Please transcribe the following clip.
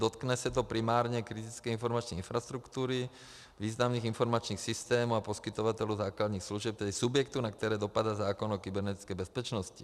Dotkne se to primárně kritické informační infrastruktury, významných informačních systémů a poskytovatelů základních služeb, tedy subjektů, na které dopadl zákon o kybernetické bezpečnosti.